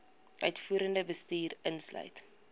uitvoerende bestuur insluit